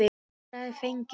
Svar fengið.